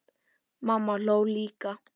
Mamma hló líka.